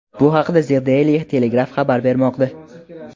Bu haqda The Daily Telegraph xabar bermoqda .